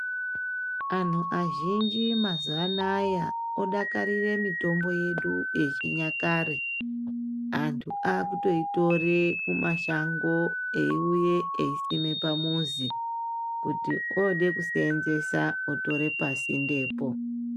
Anhu azhinji mazianaya odakarire mitombo yedu yechinyakare, antu akutoitore kumashango eiuye eisime pamuzi kuti ode kuseenzesa otore pasindepo.